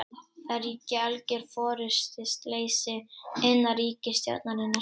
Það ríki algjör forystuleysi innan ríkisstjórnarinnar